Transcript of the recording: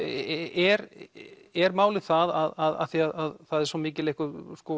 er er málið það af því að það er svo mikil einhver